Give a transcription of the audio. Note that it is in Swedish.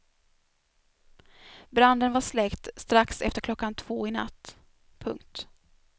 Branden var släckt strax efter klockan två i natt. punkt